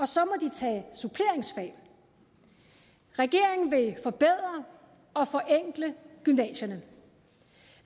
så må de tage suppleringsfag regeringen vil forbedre og forenkle gymnasierne